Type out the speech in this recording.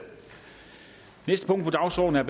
og som jeg